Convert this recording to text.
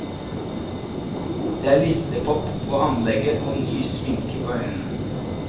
Det er listepop på anlegget og ny sminke på øynene.